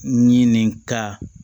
Ɲinini ka